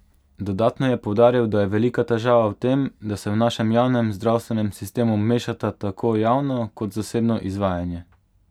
Dodatno je poudaril, da je velika težava v tem, da se v našem javnem zdravstvenem sistemu mešata tako javno kot zasebno izvajanje.